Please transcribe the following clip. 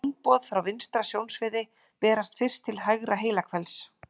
Sjónboð frá vinstra sjónsviði berast fyrst til hægra heilahvels.